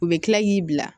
U bɛ kila k'i bila